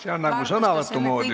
See on nagu sõnavõtu moodi juba.